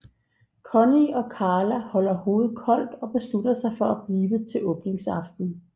Connie og Carla holder hovedet koldt og beslutter sig for at blive til åbningsaftenen